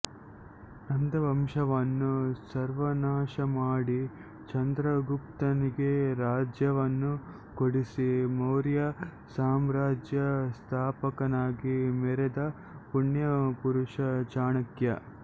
ನಂದವಂಶವನ್ನು ಸರ್ವನಾಶಮಾಡಿ ಚಂದ್ರಗುಪ್ತನಿಗೆ ರಾಜ್ಯವನ್ನು ಕೊಡಿಸಿ ಮೌರ್ಯ ಸಾಮ್ರಾಜ್ಯ ಸ್ಥಾಪಕನಾಗಿ ಮೆರೆದ ಪುಣ್ಯ ಪುರುಷ ಚಾಣಕ್ಯ